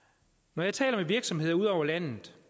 når jeg taler med virksomheder ud over landet